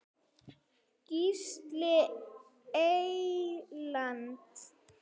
Gísli Eyland.